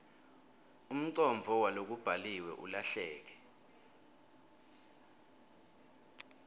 umcondvo walokubhaliwe ulahleke